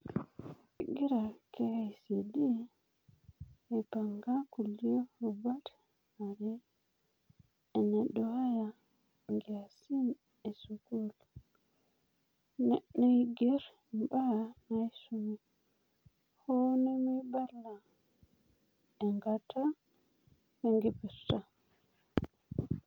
Kegira KICD aipanga kulie rubat are, enaduaaya nkiasin esukuul, wenaigerr mbaa naisumi, hoo nemeibala enkata wenkipirta.